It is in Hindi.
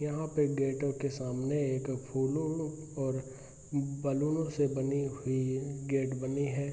यहाँ पर गेटों के सामने एक फूलों और बैलूनों से गेट बनी है।